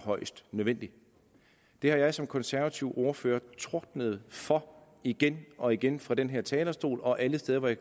højst nødvendigt det har jeg som konservativ ordfører tordnet for igen og igen fra den her talerstol og alle steder hvor jeg